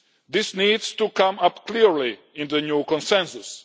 This needs to come up clearly in the new Consensus.